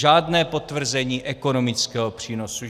Žádné potvrzení ekonomického přínosu.